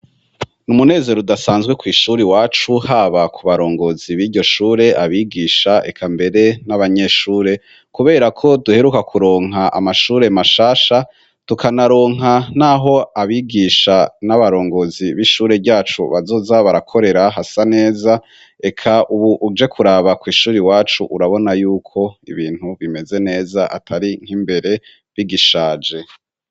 N' umunezero udasanzwe kw' ishuri iwacu haba ku barongozi biryo shure, abigisha eka mbere n'abanyeshure kubera ko duheruka kuronka amashure mashasha tukanaronka n'aho abigisha n'abarongozi b'ishure ryacu bazoza barakorera hasa neza eka ubu uje kuraba kw' ishur'iwacu urabona yuko ibintu bimeze neza atari nk'imbere bigishaje.